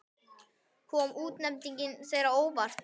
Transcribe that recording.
Kom útnefningin þér á óvart?